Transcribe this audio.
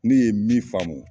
Ne ne ye min faamu.